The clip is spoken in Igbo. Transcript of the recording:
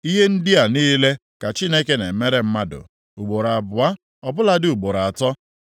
“Ihe ndị a niile ka Chineke na-emere mmadụ ugboro abụọ, ọbụladị ugboro atọ.